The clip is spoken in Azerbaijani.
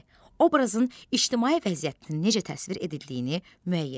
B. Obrazın ictimai vəziyyətini necə təsvir edildiyini müəyyən et.